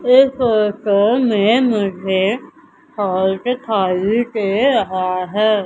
इस फोटो में मुझे हॉल दिखाई दे रहा है।